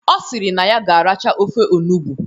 Ọ sịrị na ya ga-aracha ofe onugbu